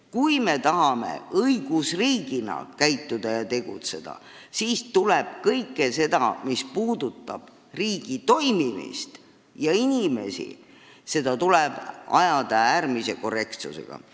Kui me tahame õigusriigina käituda ja tegutseda, siis tuleb kõike, mis puudutab riigi toimimist ja meie inimesi, ajada äärmise korrektsusega.